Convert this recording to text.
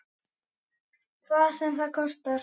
Hvað sem það kostar.